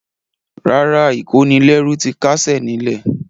Rárá, ìkónilẹ́rú ti káṣẹ̀ ní lẹ̀.